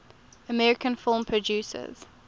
american film producers